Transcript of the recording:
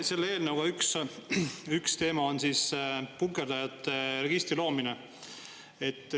Selle eelnõu üks teema on punkerdajate registri loomine.